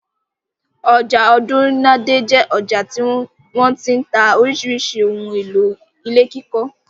Ọjà Ọ̀dúnadé jẹ́ ọjà tí wọ́n ti ń ta oríṣiríṣi àwọn ohun-èlò ilé kíkọ́.